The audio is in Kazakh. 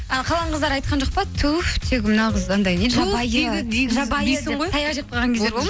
ал қалған қыздар айтқан жоқ па туф тегі мына қыз анандай жабайы деп таяқ жеп қалған кездер